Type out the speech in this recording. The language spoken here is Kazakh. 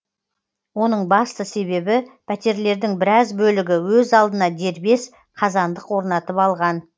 оның басты себебі пәтерлердің біраз бөлігі өз алдына дербес қазандық орнатып алған